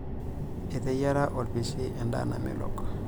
Eteyiara olpishi endaa namelok.